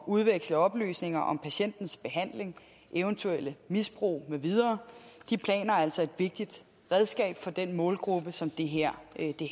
udveksle oplysninger om patientens behandling eventuelle misbrug med videre de planer er altså et vigtigt redskab for den målgruppe som det her